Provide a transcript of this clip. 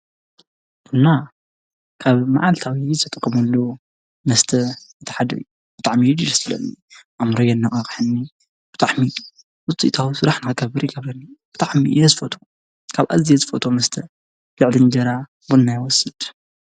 ቡና ካብ መዓልታዊ ዝጥቀመሉ መስተ እቲ ሓደ እዩ። ብጣዕሚ እዩ ደስ ዝብል ፣ኣእምሮይ የነቃቀሐኒ ፣ብጣዕሚ እዩ። ጥዑም ውፅኢታዊ ስራሕ ንምስራሕ ይጠቅም ብጣዕሚ እየ ዝፈትዎ። ካብ ኣዝየ ዝፈትዎ መስተ ልዕሊ እንጀራ ቡና ይወስድ።